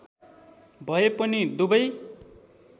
भए पनि दुबै